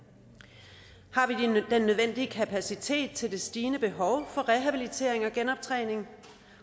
har nødvendige kapacitet til det stigende behov for rehabilitering og genoptræning